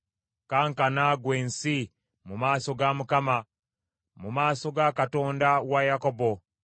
Kankana, ggwe ensi, mu maaso ga Mukama, mu maaso ga Katonda wa Yakobo,